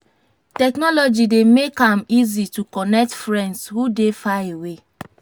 technology dey make am easy to connect friends who dey far away.